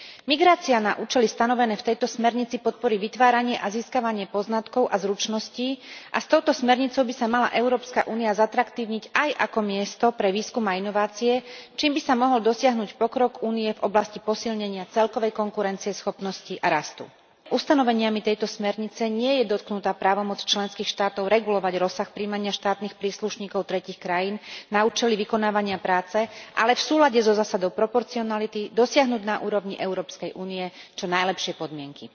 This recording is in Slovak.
Migrácia na účely stanovené v tejto smernici podporí vytváranie a získavanie poznatkov a zručností a s touto smernicou by sa mala Európska únia zatraktívniť aj ako miesto pre výskum a inovácie, čím by sa mohol dosiahnuť pokrok Únie v oblasti posilnenia celkovej konkurencieschopnosti a rastu. Ustanoveniami tejto smernice nie je dotknutá právomoc členských štátov regulovať rozsah prijímania štátnych príslušníkov tretích krajín na účely vykonávania práce, ale v súlade so zásadou proporcionality dosiahnuť na úrovni EÚ čo najlepšie podmienky.